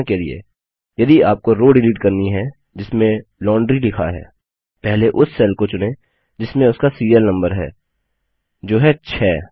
उदाहरण के लिए यदि आपको रो डिलीट करनी है जिसमें लॉन्ड्री लिखा है पहले उस सेल को चुनें जिसमें उसका सीरियल नम्बर है जो है 6